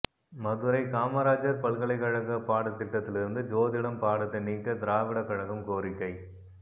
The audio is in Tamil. மதுரை காமராஜர் பல்கலைக் கழக பாட திட்டத்தில் இருந்து ஜோதிடம் பாடத்தை நீக்க திராவிட கழகம் கோரிக்கை